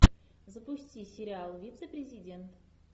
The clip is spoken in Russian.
запусти сериал вице президент